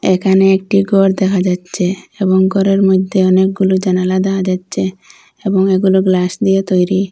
এখানে একটি ঘর দেহা যাচ্ছে এবং ঘরের মধ্যে অনেকগুলো জানালা দেহা যাচ্ছে এবং এগুলো গ্লাস দিয়ে তৈরি।